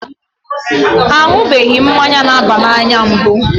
A ṅụbeghị mmanya na-aba n'anya mbụ.